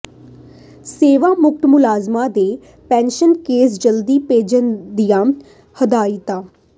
ਸੇਵਾਮੁਕਤ ਮੁਲਾਜ਼ਮਾਂ ਦੇ pension case ਜਲਦੀ ਭੇਜਣ ਦੀਆਂ ਹਦਾਇਤਾਂ